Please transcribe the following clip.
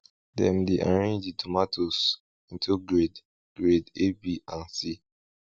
dem dey arrange di tomatoes into grade grade a b and c